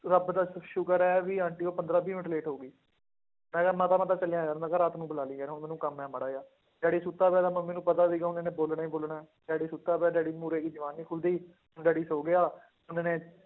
ਰੱਬ ਦਾ ਸ਼ੁਕਰ ਹੈ ਵੀ ਆਂਟੀ ਹੋਈ ਪੰਦਰਾਂ ਵੀਹ ਮਿੰਟ late ਹੋ ਗਈ, ਮੈਂ ਕਿਹਾ ਮਾਤਾ ਮੈਂ ਤਾਂ ਚੱਲਿਆ ਯਾਰ ਮੈਂ ਕਿਹਾ ਰਾਤ ਨੂੰ ਬੁਲਾ ਲਈ ਯਾਰ ਹੁਣ ਮੈਨੂੰ ਕੰਮ ਹੈ ਮਾੜਾ ਜਿਹਾ ਡੈਡੀ, ਸੁੱਤਾ ਪਿਆ ਤਾਂ ਮੰਮੀ ਨੂੰ ਪਤਾ ਸੀਗਾ ਹੁਣ ਇਹਨੇ ਬੋਲਣਾ ਹੀ ਬੋਲਣਾ ਹੈ, ਡੈਡੀ ਸੁੱਤਾ ਪਿਆ ਡੈਡੀ ਮੂਹਰੇ ਇਹਦੀ ਜ਼ੁਬਾਨ ਨੀ ਖੁੱਲਦੀ, ਡੈਡੀ ਸੌਂ ਗਿਆ,